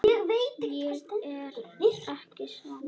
Ég er ekki svangur